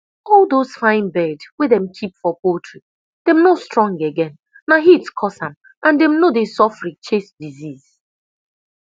all those fine bird dem keep for poultry dem no strong again na heat cause am and dem no dey sofri chase disease